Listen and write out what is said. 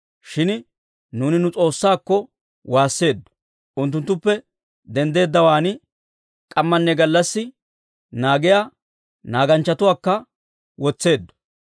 Shin nuuni nu S'oossaakko woosseeddo; unttuttuppe denddeeddawaan k'ammanne gallassi naagiyaa naaganchchatuwaakka wotseeddo.